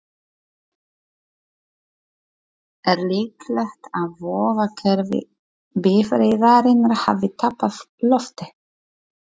Er líklegt að vökvakerfi bifreiðarinnar hafi tapað lofti?